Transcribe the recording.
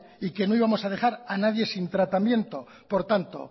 y que no íbamos a dejar a nadie sin tratamiento por tanto